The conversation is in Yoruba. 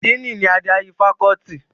Díìnì ni adarí fakọ́ọ́tì.